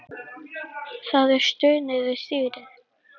Það er stunið við stýrið.